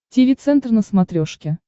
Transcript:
тиви центр на смотрешке